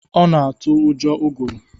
Ọ na-atụ ụjọ ụgụrụ